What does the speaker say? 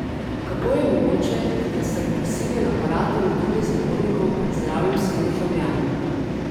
Kako je mogoče, da sta represiven aparat in udobje zapornikov pred zdravjem vseh državljanov?